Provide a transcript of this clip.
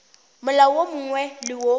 molao wo mongwe le wo